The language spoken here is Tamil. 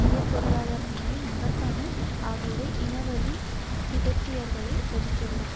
உயர் பொருளாதார நிலை மகத்தான ஆகியவை இனவழி திபெத்தியர்களை ஒதுக்கியுள்ளது